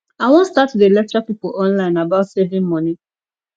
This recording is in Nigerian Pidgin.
i wan start to dey lecture people online about saving money